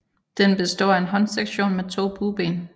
Den består af en håndsektion med to bueben